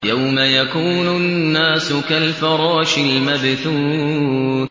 يَوْمَ يَكُونُ النَّاسُ كَالْفَرَاشِ الْمَبْثُوثِ